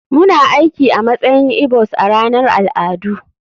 Muna aiki a matsayin igbos a ranar al'adu.